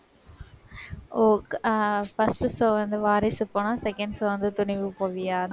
ஓ ஆஹ் first show அந்த வாரிசு போனா second show வந்து துணிவு போவியா?